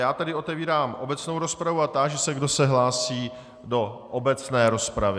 Já tedy otevírám obecnou rozpravu a táži se, kdo se hlásí do obecné rozpravy.